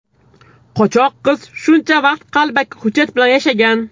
Qochoq qiz shuncha vaqt qalbaki hujjat bilan yashagan.